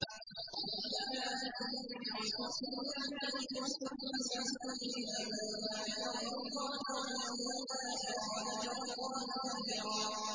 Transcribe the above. لَّقَدْ كَانَ لَكُمْ فِي رَسُولِ اللَّهِ أُسْوَةٌ حَسَنَةٌ لِّمَن كَانَ يَرْجُو اللَّهَ وَالْيَوْمَ الْآخِرَ وَذَكَرَ اللَّهَ كَثِيرًا